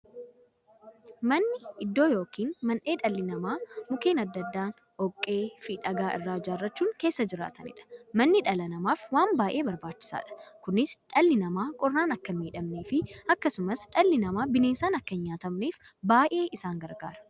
Manni iddoo yookiin mandhee dhalli namaa Mukkeen adda addaa, dhoqqeefi dhagaa irraa ijaarachuun keessa jiraataniidha. Manni dhala namaaf waan baay'ee barbaachisaadha. Kunis, dhalli namaa qorraan akka hinmiidhamneefi akkasumas dhalli namaa bineensaan akka hin nyaatamneef baay'ee isaan gargaara.